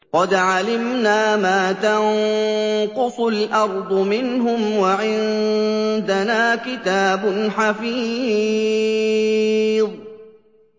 قَدْ عَلِمْنَا مَا تَنقُصُ الْأَرْضُ مِنْهُمْ ۖ وَعِندَنَا كِتَابٌ حَفِيظٌ